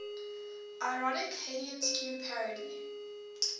ironic haydnesque parody